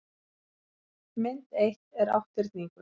mynd eitt er átthyrningur